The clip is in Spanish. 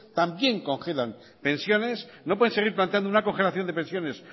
también congelan pensiones no pueden seguir planteando una congelación de pensiones